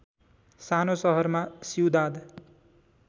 सानो सहरमा सिउदाद